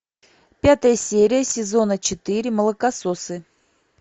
пятая серия сезона четыре молокососы